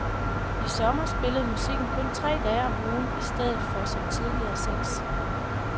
I sommer spillede musikken kun tre dage om ugen i stedet for som tidligere seks.